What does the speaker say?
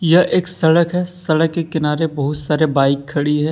यह एक सड़क है सड़क के किनारे बहुत सारे बाइक खड़ी है।